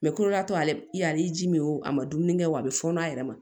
Mɛ kolo y'a to ale ji min o a ma dumuni kɛ wa a bɛ fɔɔnɔ a yɛrɛ ma